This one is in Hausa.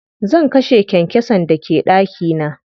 Zan kashe kyankyasan da ke ɗaki na.